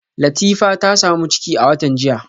Latifa ta samu ciki a watan jiya